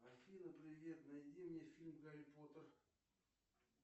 афина привет найди мне фильм гарри поттер